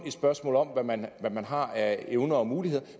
et spørgsmål om hvad man man har af evner og muligheder